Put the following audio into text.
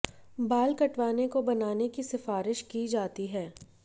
बाल कटवाने को बनाने की सिफारिश की जाती है